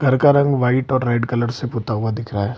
घर का रंग व्हाइट और रेड कलर से पुता हुआ दिख रहा है।